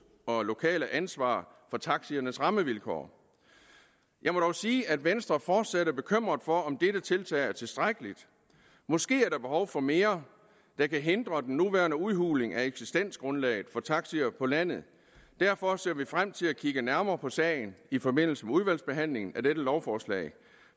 og lokale ansvar for taxiernes rammevilkår jeg må dog sige at venstre fortsat er bekymret for om dette tiltag er tilstrækkeligt måske er der behov for mere der kan hindre den nuværende udhuling af eksistensgrundlaget for taxier på landet derfor ser vi frem til at kigge nærmere på sagen i forbindelse med udvalgsbehandlingen af dette lovforslag